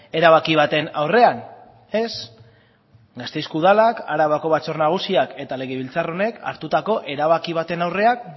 erabaki baten aurrean ez gasteizko udalak arabako batzar nagusiak eta legebiltzar honek hartutako erabaki baten aurrean